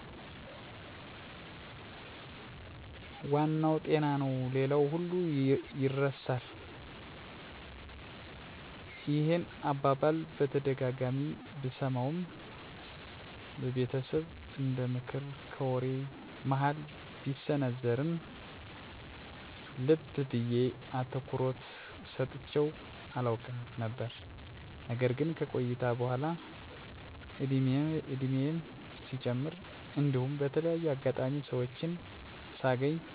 " ዋናው ጤና ነው ሌላው ሁሉ ይርሳል። " ይህን አባባል በተደጋጋሚ ብሰማውም በቤተሰብ እንደምክር ከወሬ መሀል ቢሰነዘርም ልብ ብየ አትኩሮት ሰጥቸው አላውቅም ነበር። ነገር ግን ከቆይታ በኃላ እድሜየም ሲጨምር እንዲሁም በተለያየ አጋጣሚ ሰወችን ሳገኝ ትንሽ በሚባሉ ስህተቶች እንዲሁም በቀላሉ መቀረፍ በሚችሉ ችግሮች እና ምክኒያቶች ሰወች ጤና አጥተው ከትምህርት እና ከስራ ሲቀሩ አይቻለሁ። በመሆኑም ጤናን መጠበቅ አስፈላጊ እንደሆን ተረድቻለሁ።